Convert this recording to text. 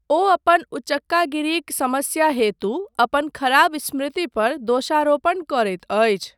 ओ अपन उचक्कागिरीक समस्या हेतु अपन खराब स्मृति पर दोषारोपण करैत अछि।